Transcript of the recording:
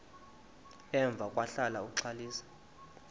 emva kwahlala uxalisa